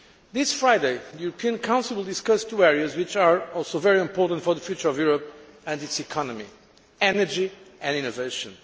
This Friday, the European Council will discuss two areas which are also very important for the future of Europe and its economy energy and innovation.